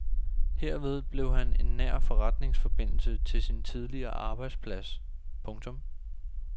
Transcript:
Herved blev han en nær forretningsforbindelse til sin tidligere arbejdsplads. punktum